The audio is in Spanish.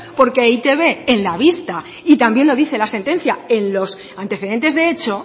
porque e i te be en la vista y también lo dice la sentencia en los antecedentes de hecho